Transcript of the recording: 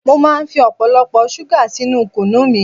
Mo máa ń fi ọ̀pọ̀lọpọ̀ ṣúgà sínú kunu mi